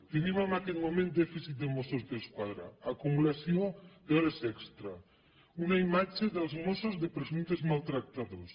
tenim en aquest moment dèficit de mossos d’esquadra acumulació d’hores extra una imatge dels mossos de presumptes maltractadors